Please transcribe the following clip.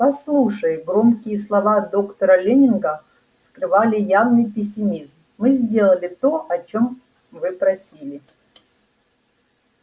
послушай громкие слова доктора лэннинга скрывали явный пессимизм мы сделали то о чём вы просили